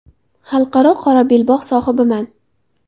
Xalqaro qora belbog‘ sohibiman.